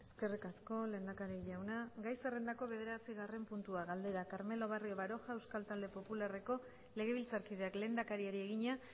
eskerrik asko lehendakari jauna gai zerrendako bederatzigarren puntua galdera carmelo barrio baroja euskal talde popularreko legebiltzarkideak lehendakariari egina